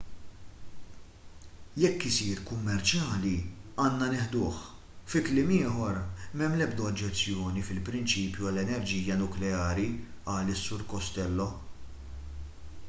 jekk isir kummerċjali għandna nieħduh fi kliem ieħor m'hemm l-ebda oġġezzjoni fil-prinċipju għall-enerġija nukleari qal is-sur costello